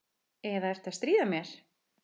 Eða ertu að stríða mér?